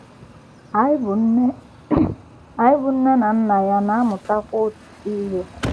Anyị bụ́ nne Anyị bụ́ nne na nna ya na - amụtakwa ọtụtụ ihe.